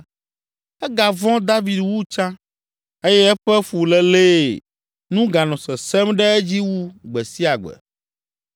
egavɔ̃ David wu tsã eye eƒe fulélee nu ganɔ sesẽm ɖe edzi wu gbe sia gbe.